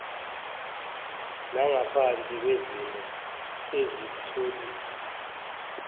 nangaphansi kwezimo ezitholiwe